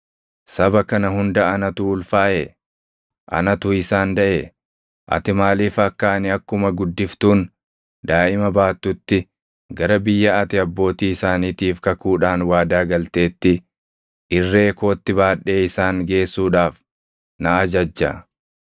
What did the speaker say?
Saba kana hunda anatu ulfaaʼee? Anatu isaan daʼee? Ati maaliif akka ani akkuma guddiftuun daaʼima baattutti gara biyya ati abbootii isaaniitiif kakuudhaan waadaa galteetti irree kootti baadhee isaan geessuudhaaf na ajajja?